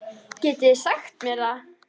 Getið þið sagt mér það?